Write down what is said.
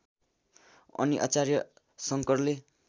अनि आचार्य शङ्करले